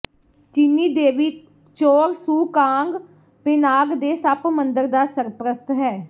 ਚੀਨੀ ਦੇਵੀ Chor Soo Kong Penang ਦੇ ਸੱਪ ਮੰਦਰ ਦਾ ਸਰਪ੍ਰਸਤ ਹੈ